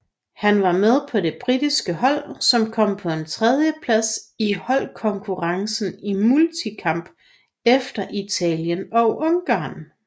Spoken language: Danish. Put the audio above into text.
Han var med på det britiske hold som kom på en tredjeplads i holdkonkurrencen i multikamp efter Italien og Ungarn